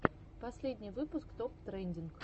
последний выпуск топ трендинг